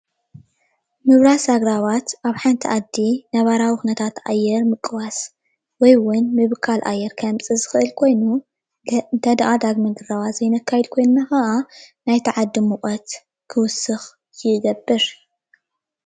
ምብራስ አግራባት አብ ሓንቲ ዓዲ ነባራዊ ኩነታት አየር ምቅዋስ ወይ እውን ምብካል አየር ከምፅእ ዝክእል ኮይኑ እንተደኣ ዳግም ግረባ ዘይነካይድ ኮይና ከዓ ናቲ ዓዲ ሙቀት ክዉስኽ ይገብር።